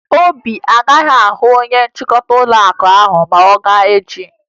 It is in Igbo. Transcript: Obi agaghị ahụ onye nchịkọta ụlọakụ ahụ ma ọ gaa echi